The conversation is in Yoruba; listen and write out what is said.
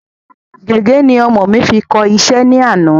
Gègé ni ọmọ mi fi kọ iṣẹ́ ní àná